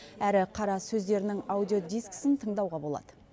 әрі қара сөздерінің аудиодискісін тыңдауға болады